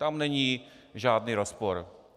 Tam není žádný rozpor.